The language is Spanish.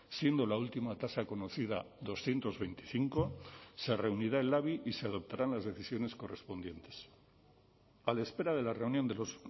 siendo la última tasa conocida doscientos veinticinco se reunirá el labi y se adoptarán las decisiones correspondientes a la espera de la reunión de los